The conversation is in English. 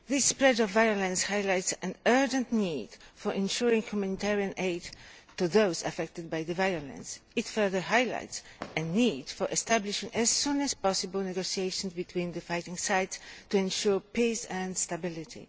This spread of violence highlights an urgent need to supply humanitarian aid to those affected by the violence. It further highlights a need to establish, as soon as possible, negotiations between the fighting sides to ensure peace and stability.